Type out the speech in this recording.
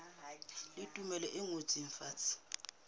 le tumello e ngotsweng fatshe